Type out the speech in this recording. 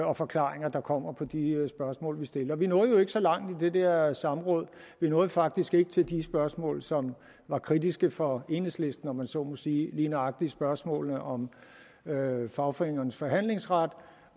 og forklaringer der kommer på de spørgsmål vi stiller vi nåede jo ikke så langt i det der samråd vi nåede faktisk ikke til de spørgsmål som var kritiske for enhedslisten om man så må sige lige nøjagtig spørgsmålene om fagforeningernes forhandlingsret